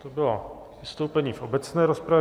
To bylo vystoupení v obecné rozpravě.